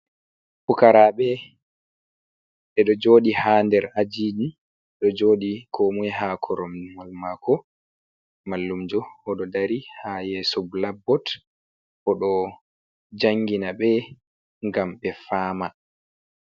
Pukaraɓe ɓeɗo joɗi haa nder ajiji ɗo joɗi ko moi haa koromniwal maako. Mallumjo oɗo dari haa yeso blakbot oɗo jangina ɓe ngam ɓe famaa.